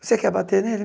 Você quer bater nele?